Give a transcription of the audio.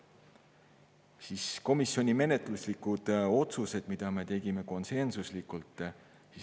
Nüüd komisjoni menetluslikud otsused, mis me tegime konsensuslikult.